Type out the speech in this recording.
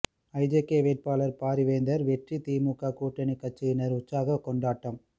IJK வேட்பாளர் பாரிவேந்தர் வெற்றி திமுக கூட்டணி கட்சியினர் உற்சாக கொண்டாட்டம்